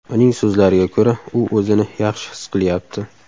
Uning so‘zlariga ko‘ra, u o‘zini yaxshi his qilyapti.